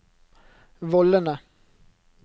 vollene